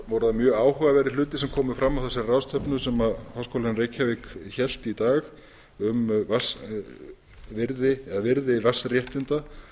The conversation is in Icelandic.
voru það mjög áhugaverðir hlutir sem komu fram á þessari ráðstefnu sem háskólinn í reykjavík hélt í dag um virði vatnsréttinda